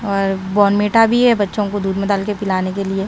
और बॉर्नविटा भी है बच्चों को दूध में डालके पिलाने के लिए।